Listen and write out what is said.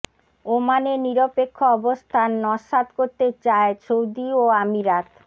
ওমানের নিরপেক্ষ অবস্থান নস্যাৎ করতে চায় সৌদি ও আমিরাত